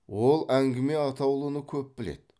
ол әңгіме атаулыны көп біледі